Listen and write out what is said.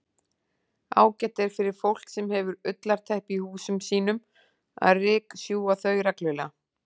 Ágætt er fyrir fólk sem hefur ullarteppi í húsum sínum að ryksjúga þau reglulega.